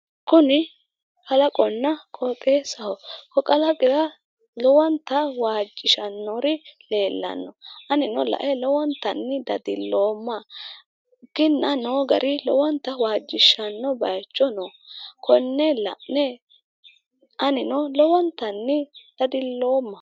kuni kalaqonna qooxeessaho ko kalaqira lowonta waajjishannori leellanno anino lae lowontanni dadilloomma kinna noo gari lowonta waajjishshanno bayiicho no konne la'ne anino lowontanni dadiloomma .